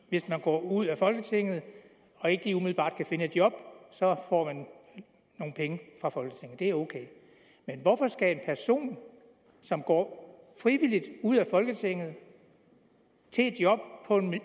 hvis man går ud af folketinget og ikke lige umiddelbart kan finde et job så får man nogle penge fra folketinget og det er ok men hvorfor skal en person som går frivilligt ud af folketinget til et job